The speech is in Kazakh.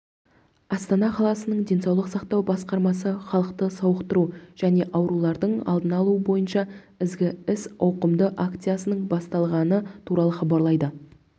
астана қаласының денсаулық сақтау басқармасы халықты сауықтыру және аурулардың алдын алу бойынша ізгі іс ауқымды акциясының басталғаны туралы хабарлайды